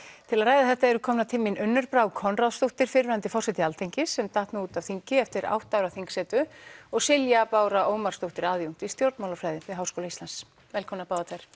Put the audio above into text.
til að ræða þetta eru komnar til mín Unnur Brá Konráðsdóttir fyrrverandi forseti Alþingis sem datt nú út af þingi eftir átta ára þingsetu og Silja Bára Ómarsdóttir aðjúnkt í stjórnmálafræði við Háskóla Íslands velkomnar